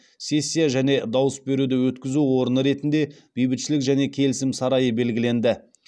сессия және дауыс беруді өткізу орны ретінде бейбітшілік және келісім сарайы белгіленді